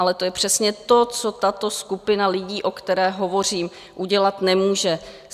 Ale to je přesně to, co tato skupina lidí, o které hovořím, udělat nemůže.